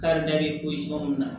Karida bɛ mun na